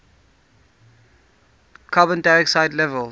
carbon dioxide levels